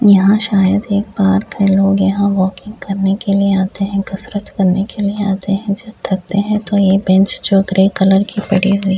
यहाँ शायद एक पार्क है। लोग यहाँ वॉकिंग करने के लिए आते हैं कसरत करने के लिए आते हैं जब थकते हैं तो ये बेंच जो ग्रे कलर की पड़ी हुई --